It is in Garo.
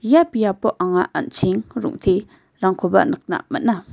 ia biapo anga an·cheng rong·terangkoba nikna man·a.